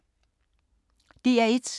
DR1